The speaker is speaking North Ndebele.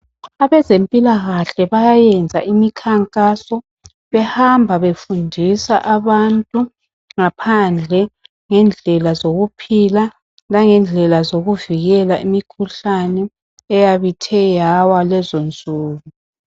Abezempilakahle bayayenza imikhankaso behamba befundisa abantu ngaphandle ngendlela zokuphila langendlela zokuvikela imikhuhlane eyabe ithe yawa lezonsuku.